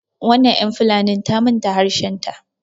wannan yan fulanin ta manta harshenta